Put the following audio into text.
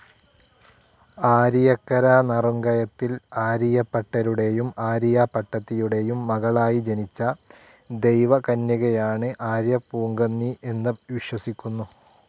ആരിയക്കര നറുംകയത്തിൽ ആരിയപ്പട്ടരുടേയും ആരിയ പട്ടത്തിയുടേയും മകളായി ജനിച്ച ദൈവകന്യയാണ് ആര്യപൂങ്കന്നി എന്നു വിശ്വസിക്കുന്നു.